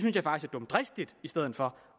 dumdristigt i stedet for